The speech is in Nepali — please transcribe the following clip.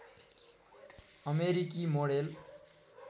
अमेरिकी मोडेल